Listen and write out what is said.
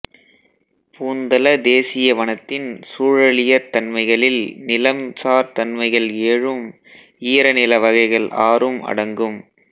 பூந்தல தேசிய வனத்தின் சூழலியற் தன்மைகளில் நிலம் சார் தன்மைகள் ஏழும் ஈரநில வகைகள் ஆறும் அடங்கும்